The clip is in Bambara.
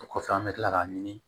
O kɔfɛ an bɛ tila k'a ɲini